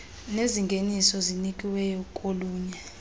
nezingeniso zinikiweyo kolunye